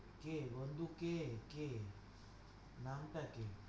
কে বন্ধু কে কে? নামটা কি?